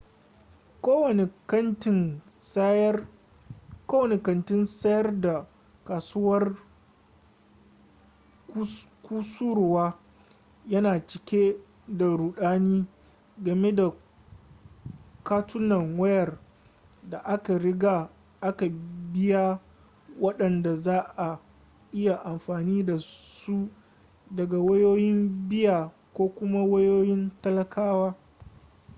kowane kantin sayar da kusurwa yana cike da rudani game da katunan wayar da aka riga aka biya wadanda za'a iya amfani dasu daga wayoyin biya ko kuma wayoyin talakawa